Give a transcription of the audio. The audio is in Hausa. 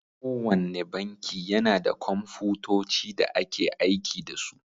Kowanne banki yana da Komfutoci da ake aiki da su.